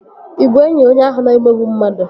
Ị bụ enyi onye ahụ na-emegbu mmadụ?